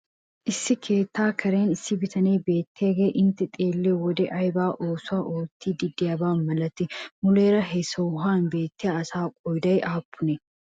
Issi keettaa karen issi bitanee beettiyagee intte xeelliyo wode ayba oosuwa oottiiddi de'iyaba malatii? Muleera he sohuwan beettiya asaa qooda aappunee?